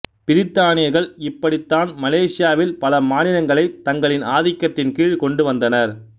பிரித்தானியர்கள் இப்படித்தான் மலேசியாவில் பல மாநிலங்களைத் தங்களின் ஆதிக்கத்தின் கீழ் கொண்டு வந்தனர்